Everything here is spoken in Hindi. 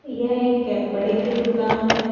ये एक कपड़े की दुकान है।